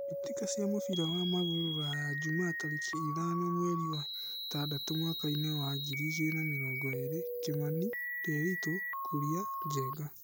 Mbĩtĩka cia mũbira wa magũrũ Ruraya Jumaa tarĩki ithano mweri wetandatũ mwakainĩ wa ngiri igĩrĩ na mĩrongo ĩrĩ: Kimani, Ndiritu, Kuria, Njenga.